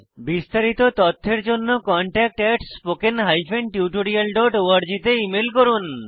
বিস্তারিত তথ্যের জন্য contactspoken tutorialorg তে ইমেল করুন